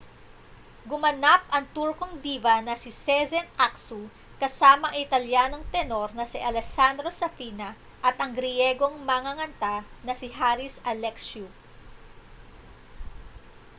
gumanap ang turkong diva na si sezen aksu kasama ang italyanong tenor na si alessandro safina at ang griyegong manganganta na si haris alexiou